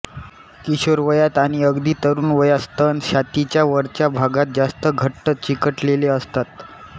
किशोरवयात आणि अगदी तरुण वयात स्तन छातीच्या वरच्या भागात जास्त घट्ट चिकटलेले असतात